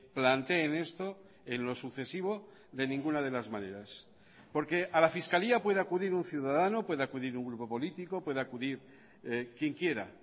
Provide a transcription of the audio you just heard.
planteen esto en lo sucesivo de ninguna de las maneras porque a la fiscalía puede acudir un ciudadano puede acudir un grupo político puede acudir quien quiera